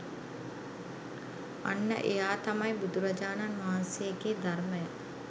අන්න එයා තමයි බුදුරජාණන් වහන්සේගේ ධර්මය